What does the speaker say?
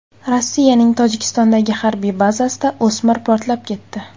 Rossiyaning Tojikistondagi harbiy bazasida o‘smir portlab ketdi.